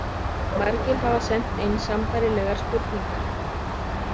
Margir hafa sent inn sambærilegar spurningar.